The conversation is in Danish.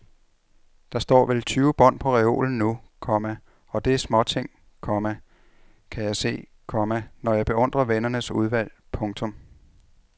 Der står vel tyve bånd på reolen nu, komma og det er småting, komma kan jeg se, komma når jeg beundrer vennernes udvalg. punktum